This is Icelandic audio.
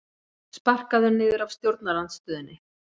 Sparkaður niður af stjórnarandstöðunni